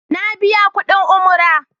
Na biya kuɗin Umara.